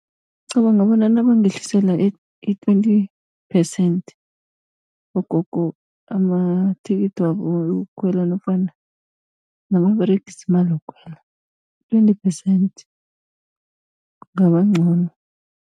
Ngicabanga bona nabangehlisela i-twenty phesenthi bogogo, amathikithi wabo wokukhwela nofana nababeregisa imali yokukhwela, twenty phesenthi kungaba ncono.